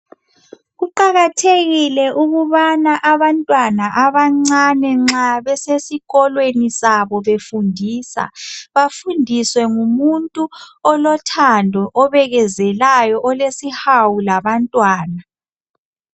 Kuqakathekile ukubana abantwana abancane nxa besesikolweni sabo befundisa bafundiswe ngumuntu olothando obekezelayo olesihawu labantwana.